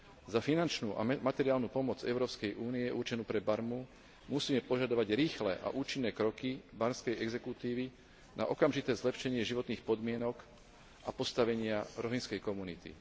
Za finančnú a materiálnu pomoc Európskej únie určenú pre Barmu, musíme požadovať rýchle a účinné kroky barmskej exekutívy na okamžité zlepšenie životných podmienok a postavenia rohingskej komunity.